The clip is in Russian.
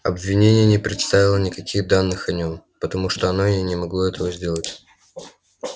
обвинение не представило никаких данных о нём потому что оно и не могло этого сделать